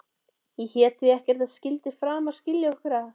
Ég hét því að ekkert skyldi framar skilja okkur að.